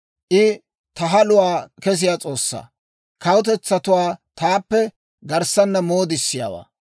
I ta haluwaa kessiyaa S'oossaa; kawutetsatuwaa taappe garssaana moodissiyaawaa;